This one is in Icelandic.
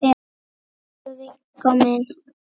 Elsku Viggó minn.